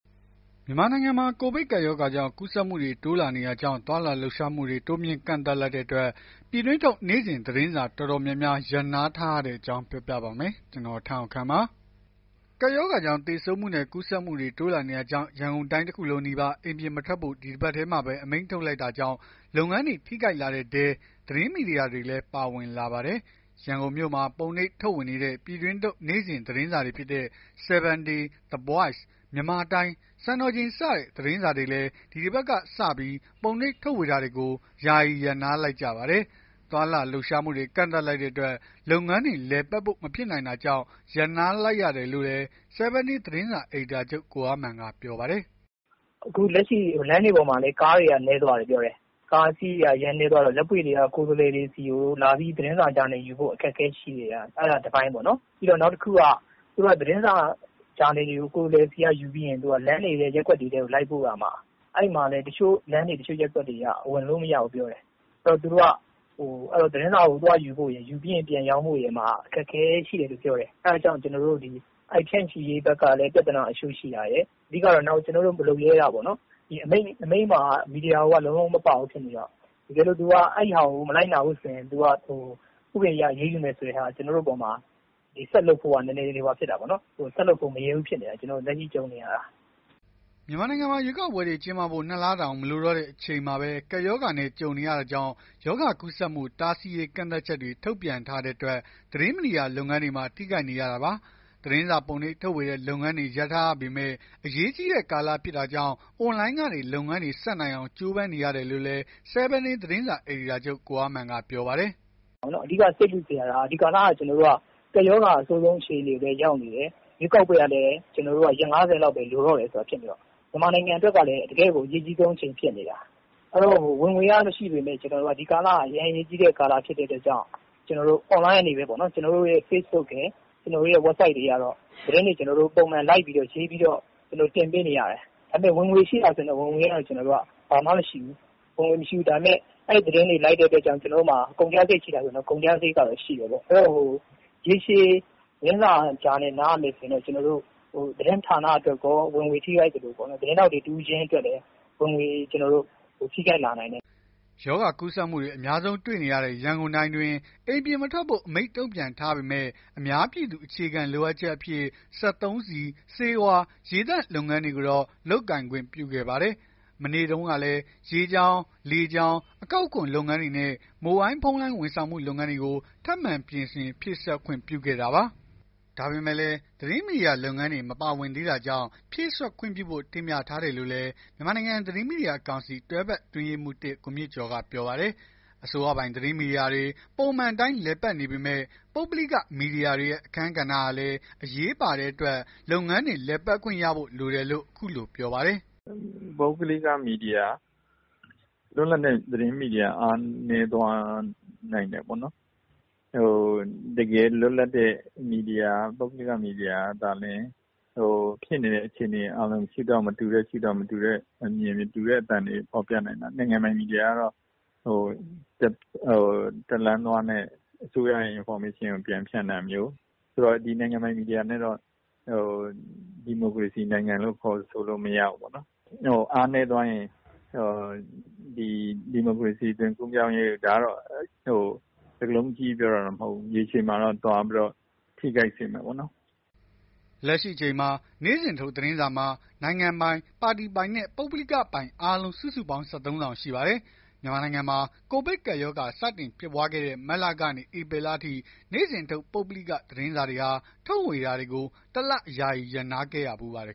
မြန်မာနိုင်ငံမှာ ကိုဗစ်ကပ်ရောဂါ ကူးစက်မှုတွေ တိုးလာနေတာကြောင့် သွားလာလှုပ်ရှားမှုတွေ တိုးမြှင့်ကန့်သတ်လိုက်တဲ့အတွက် ပြည်တွင်းထုတ် နေ့စဉ်သတင်းစာ တော်တော်များများ ရပ်နားထားရတဲ့အကြောင်းကို ဗွီအိုအေမြန်မာပိုင်းသတင်းထောက် ကိုထက်အောင်ခန့်က ပြောပြပါမယ်။ ကပ်ရောဂါကြောင့် သေဆုံးမှုတွေနဲ့ ကူးစက်မှုတွေ တိုးလာနေတာကြောင့် ရန်ကုန်တိုင်းတခုလုံးနီးပါး အိမ်ပြင်မထွက်ဖို့ ဒီတပတ်ထဲမှာပဲ အမိန့်ထုတ်လိုက်တာကြောင့် လုပ်ငန်းတွေ ထိခိုက်လာတဲ့အထဲ သတင်းမီဒီယာတွေလည်း ပါဝင်လာပါတယ်။ ရန်ကုန်မြို့မှာ ပုံနှိပ်ထုတ်ဝေနေတဲ့ ပြည်တွင်းထုတ် နေ့စဉ်သတင်းစာတွေဖြစ်တဲ့ 7Day, The Voice, Myanmar Time, စံတော်ချိန်စတဲ့ သတင်းစာတွေလည်း ဒီတပတ်ကစ ပုံနှိပ်ထုတ်ဝေတာတွေကို ယာယီရပ်နားလိုက်ကြပါတယ်။ သွားလာလှုပ်ရှားမှုတွေ ကန့်သတ်လိုက်တဲ့အတွက် လုပ်ငန်းတွေ လည်ပတ်ဖို့ မဖြစ်နိုင်တာကြောင့် ရပ်နားလိုက်ရတာလို့လည်း 7 Day သတင်းစာ အယ်ဒီတာချုပ် ကိုအားမာန်က ပြောပါတယ်။ “အခုလက်ရှိ လမ်းတွေပေါ်မှာ ကားတွေနည်းသွားတယ်။ ကားအစီးရေ အရမ်းနည်းသွားတော့ လက်ပွေ့တွေက ကိုယ်စားလှယ်တွေဆီကို သတင်းစာဂျာနယ်ယူဖို့ အခက်အခဲရှိနေတာ။ အဲ့ဒါ တပိုင်းပေါ့ နောက်တခုက သတင်းစာ ဂျာနယ်တွေကို ကိုယ်စားလှယ်တွေဆီက ယူပြီး လမ်းတွေ၊ ရပ်ကွက်တွေထဲကို လိုက်ပို့ရမှာ အဲ့မှာလည်း တချို့လမ်းတွေ ရပ်ကွက်တွေက ဝင်လို့မရဘူးပြောတယ်။ အဲ့တော့ သတင်းစာကို သွားယူဖို့ရယ် ပြန်ရောင်းဖို့ရယ်မှာ အခက်အခဲတွေ ရှိတယ်ပြောတယ်။ အဲ့ဒီဖြန့်ချိရေးဘက်မှာလည်း ပြဿနာတချို့ ရှိတာရယ်။ နောက်တခုက အမိန့်မှာ မီဒီယာကို လုံးလုံးမပါဘူးဖြစ်နေတယ်။ တကယ်လို့ အဲ့ဒီဟာကို မလိုက်နာဘူးဆိုရင် ဥပဒေအရ အရေးယူမယ်ဆိုတဲ့ဟာမှာ ရှေ့ဆက်လုပ်ဖို့ဟာ ဆက်လုပ်ဖို့ မရဲဘူးဖြစ်နေတာပေါ့။” မြန်မာနိုင်ငံမှာ ရွေးကောက်ပွဲတွေ ကျင်းပဖို့ ၂ လတောင် မလိုတော့တဲ့ အချိန်မှာပဲ ကပ်ရောဂါနဲ့ ကြုံနေရတာကြောင့် ရောဂါကူးစက်မှု တားဆီးရေး ကန့်သတ်ချက်တွေ ထုတ်ပြန်ထားတဲ့အတွက် သတင်းမီဒီယာလုပ်ငန်းတွေမှာ ထိခိုက်နေရတာပါ။ သတင်းစာပုံနှိပ်ထုတ်ဝေတဲ့ လုပ်ငန်းတွေ ရပ်ထားရပေမဲ့ အရေးကြီးတဲ့ ကာလဖြစ်တာကြောင့် အွန်လိုင်းကနေ လုပ်ငန်းတွေ ဆက်နိုင်အောင် ကြိုးပမ်းနေရတယ်လို့လည်း 7 Day သတင်းစာ အယ်ဒီတာချုပ် ကိုအားမာန်က ပြောပါတယ်။ “အဓိက စိတ်ပူနေရတာကို ဒီကာလက ကပ်ရောဂါ အဆိုးဆုံး အခြေအနေကို ရောက်နေတယ်။ ရွေးကောက်ပွဲ လုပ်ဖို့ကလည်း ရက် ၅၀ လောက်ပဲ လိုတော့တယ်။ မြန်မာနိုင်ငံအတွက်ကလည်း တကယ့်ကို အရေးကြီးဆုံး အချိန်ဖြစ်နေတာ။ ဝင်ငွေက မရှိပေမဲ့ ဒီကာလက အရေးကြီးဆုံး အချိန်ဖြစ်နေတဲ့အတွက်ကြောင့် အွန်လိုင်း ကနေပဲ ကျနော်တို့ရဲ့ Facebook ရယ်၊ ကျနော်တို့ Website ရယ်ကနေ သတင်းတွေ ပုံမှန် လိုက်ပြီးတော့ ရေးပြီးတော့ တင်ပေးနေရတယ်။ ဝင်ငွေရှိလားဆိုရင် ကျနော်တို့ ဝင်ငွေက ဘာမှမရှိဘူး။ အဲ့သတင်းတွေ လိုက်နေရတဲ့အတွက်ကြောင့် ကျနော်တို့မှာ ကုန်ကျစရိတ်ရှိတယ်။ ရေရှည် သတင်းစာ ဂျာနယ် နားရမယ်ဆိုရင်တော့ သတင်းဌာနအတွက်ကော ဝင်ငွေ ထိခိုက်သလို သတင်းထောက် တဦးချင်းစီအတွက်လည်း ဝင်ငွေ ထိခိုက်လာနိုင်တယ်။” ရောဂါကူးစက်မှုတွေ အများဆုံး တွေ့နေရတဲ့ ရန်ကုန်တိုင်းအတွင်း အိမ်ပြင်မထွက်ဖို့ အမိန့်ထုတ်ပြန်ထားပေမဲ့ အများပြည်သူ အခြေခံလိုအပ်ချက်အဖြစ် စက်သုံးဆီ၊ ဆေးဝါး ရေသန့် လုပ်ငန်းတွေကိုတော့ လုပ်ကိုင်ခွင့်ပြုခဲ့ပါတယ်။ မနေ့တုန်းကလည်း ရေကြောင်း လေကြောင်း အကောက်ခွန် လုပ်ငန်းတွေနဲ့ မိုဘိုင်းဖုန်းလိုင်း ဝန်ဆောင်မှုလုပ်ငန်းတွေကို ထပ်မံပြင်ဆင်ဖြည့်စွက် ခွင့်ပြုခဲ့တာပါ။ ဒါပေမဲ့လည်း သတင်းမီဒီယာလုပ်ငန်းတွေ မပါဝင်သေးတာကြောင့် ဖြည့်စွက်ခွင့်ပြုဖို့ တင်ပြထားတယ်လို့လည်း မြန်မာနိုင်ငံသတင်းမီဒီယာကောင်စီက တွဲဖက်အတွင်းရေးမှူး ကိုမြင့်ကျော်က ပြောပါတယ်။ အစိုးရပိုင် သတင်းမီဒီယာတွေ ပုံမှန်အတိုင်း လည်ပတ်နေပေမဲ့ ပုဂ္ဂလိက မီဒီယာတွေရဲ့ အခန်းကဏ္ဍဟာလည်း အရေးပါတဲ့အတွက် လုပ်ငန်းတွေ လည်ပတ်ခွင့်ရဖို့ လိုတယ်လို့ အခုလို ပြောပါတယ်။ “ပုဂ္ဂလိက မီဒီယာ လွတ်လပ်တဲ့ သတင်းမီဒီယာ အားနည်းသွားနိုင်တယ်ပေါ့နော်။ တကယ် လွတ်လပ်တဲ့ သတင်းမီဒီယာ ပုဂ္ဂလိက မီဒီယာကသာလျှင် ဖြစ်နေတဲ့ အခြေအနေကို မတူတဲ့ ရှုထောင့် မတူတဲ့ အမြင် မတူတဲ့ အသံတွေ ဖော်ပြနိုင်တာ။ နိုင်ငံပိုင်မီဒီယာကတော့ တလမ်းသွားနဲ့ အစိုးရရဲ့ သတင်းအချက်အလက်ကို ပြန်ဖြန့်တာမျိုး ဒီနိုင်ငံပိုင်မီဒီယာနဲ့တော့ ဒီမိုကရေစီနိုင်ငံလို့ ခေါ်ဆိုလို့မရဘူး။ အားနည်းသွားရင် ဒါကတော့ စကားလုံး အကြီးကြီး ပြောတာတော့မဟုတ်ဘူး။ ရေရှည်မှာတော့ သွားပြီး ထိခိုက်စေမယ့်ပေါ့နော်။” လက်ရှိအချိန်မှာ နေ့စဉ်ထုတ်သတင်းစာမှာ နိုင်ငံပိုင် ပါတီပိုင်နဲ့ ပုဂ္ဂလိက ပိုင်အားလုံး စုစုပေါင်း ၁၃ စောင် ရှိပါတယ်။ မြန်မာနိုင်ငံမှာ ကိုဗစ်ကပ်ရောဂါ စတင်ဖြစ်ပွားတဲ့ မတ်လကနေ ဧပြီလအထိ နေ့စဉ်ထုတ် ပုဂ္ဂလိက သတင်းစာတွေဟာ ထုတ်ဝေတာတွေကို ၁ လ ယာယီရပ်နားခဲ့ရဖူးပါတယ်